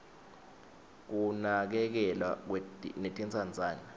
kunakekelwa netintsandzane